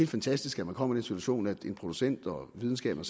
fantastisk at man kommer i den situation at en producent og at videnskaben